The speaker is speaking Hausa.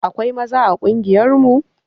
Akwai maza a ƙungiyar mu